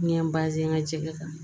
N ye n ka cɛkɛ kan